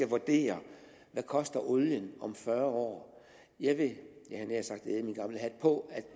vurdere hvad koster olien om fyrre år jeg vil jeg havde nær sagt æde min gamle hat på at